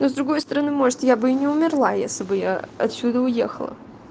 но с другой стороны может я бы не умерла если бы я отсюда уехала